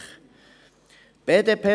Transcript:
das kann ich als Bauer sagen.